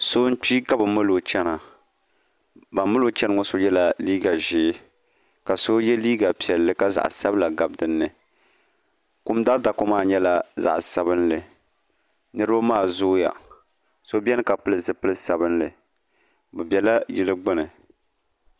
so n-kpi ka bɛ mali o n-chena ban mali o cheni ŋɔ so yela liiga ʒee ka so ye liiga piɛlli ka zaɣ'sabila gabi di ni kum daadaka maa nyɛla zaɣ'sabinlli niriba maa zooya so beni pili zupil'sabinlli bɛ bela yili gbuni